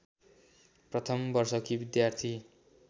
प्रथम वर्षकी विद्यार्थी